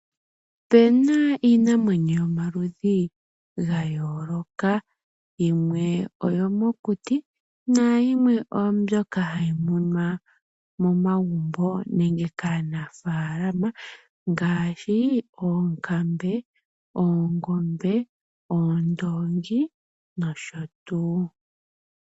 Opena iinamwenyo yomaludhi ga yooloka yimwe oyo mokuti nayimwe oyo mbyoka hayi munwa momagumbo nenge kaanafalama ngaashi oonkambe, oongombe, oondongi nosho tuu.